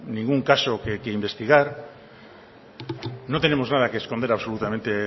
ningún caso que investigar no tenemos nada que esconder absolutamente